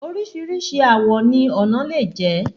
Oríṣìíríṣìí àwọ̀ ni ọnà lè jẹ́.